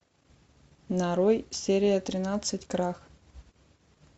нарой серия тринадцать крах